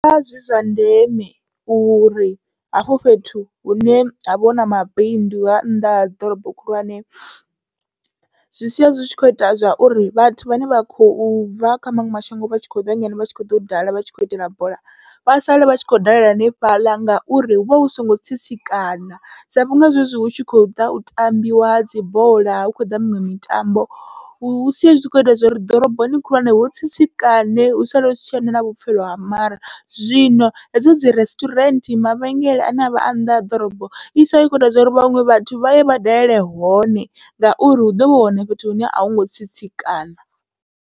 Zwi vha zwi zwa ndeme uri hafho fhethu hune havha huna mabindu ha nnḓa ha ḓorobo khulwane, zwi sia zwi tshi kho ita zwauri vhathu vhane vha khou bva kha maṅwe mashango vha tshi kho ḓa ngeno vha tshi kho ḓo dala vhatshi kho itela bola, vha sale vha tshi khou dalela hanefhaḽa ngauri huvha hu songo tsitsikana, sa vhunga zwezwi hu tshi khou ḓa u tambiwa dzibola hu khou ḓa miṅwe mitambo hu sia hu kho ita zwori ḓoroboni khulwane hu tsitsikane hu sale husi tshena na vhupfhelo ha mare. Zwino hedzo dzi resturant, mavhengele ane avha a nnḓa ha ḓorobo i sala i khou ita zwauri vhaṅwe vhathu vhaye vha dalele hone, ngauri hu ḓovha hu hone fhethu hune ahungo tsitsikana.